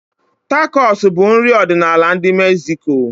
Tacos bụ nri ọdịnala ndi Mexico.